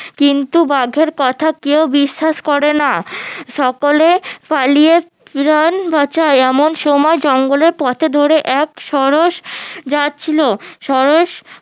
কিন্তু বাঘের কথা কেউ বিশ্বাস করে না সকলে পালিয়ে প্রাণ বাঁচায় এমন সময় জঙ্গলে পথে ধরে এক সরস যাচ্ছিলো সরস